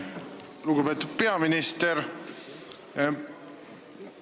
Lugupeetud peaminister!